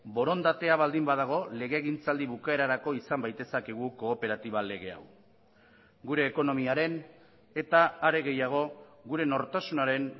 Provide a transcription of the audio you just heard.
borondatea baldin badago legegintzaldi bukaerarako izan baitezakegu kooperatiba lege hau gure ekonomiaren eta are gehiago gure nortasunaren